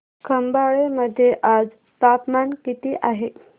खंबाळे मध्ये आज तापमान किती आहे